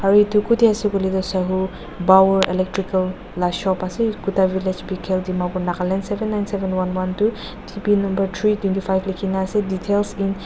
aro etu kutae ase koile tuh sahu power electrical la shop ase etu kuda village B khel dimapur nagaland seven nine seven one one two T P number three twenty five lekhina ase details .